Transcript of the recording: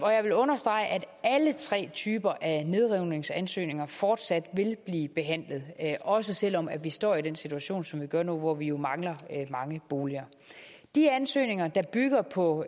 jeg vil understrege at alle tre typer af nedrivningsansøgninger fortsat vil blive behandlet også selv om vi står i den situation som vi gør nu hvor vi mangler mange boliger de ansøgninger der bygger på